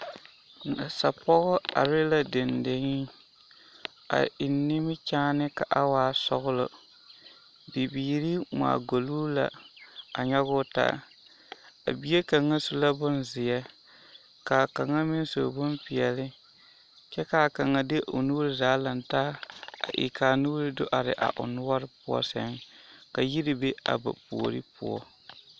Nasa pɔgɔ are la dendeŋe a eŋ nimikyaane ka a waa sɔgelɔ, bibiiri ŋmaa golloo la a nyɔge o taa, a bie kaŋa su la bonzeɛ k'a kaŋa meŋ su bompeɛle kyɛ k'a kaŋa de o nuuri zaa lantaa a e k'a nuuri do are o noɔre poɔ sɛŋ ka yiri be a ba puori poɔ.